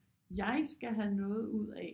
Jeg skal have noget ud af